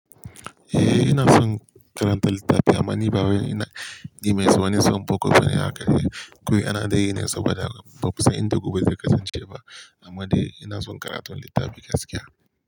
Eh, ina son karanta littafi amma ni ba wai ina, ni mai sanin son boko ba ne haka. Kawai ana dai ne saboda ba mu san inda gobe zai kasance ba, amma dai ina son karatun littafi gaskiya.